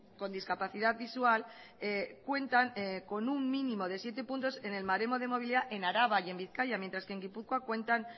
con discapacidad visual cuentan con un mínimo de siete puntos en el baremo de movilidad en araba y en bizkaia mientras que en gipuzkoa cuentan